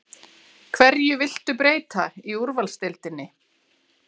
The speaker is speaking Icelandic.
Hverju viltu breyta í úrvalsdeildinni?